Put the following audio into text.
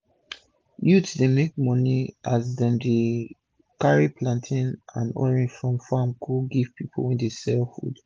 youth dem dey make moni as dem dey carri plantain and orange from farm go give pipu wey dey sell food